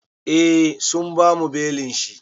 Eh sun bamu belin shi.